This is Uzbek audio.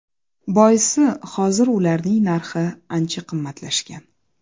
Boisi hozir ularning narxi ancha qimmatlashgan.